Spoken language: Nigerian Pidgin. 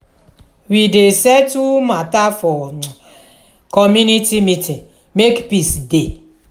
we dey settle mata for um community meeting make peace dey.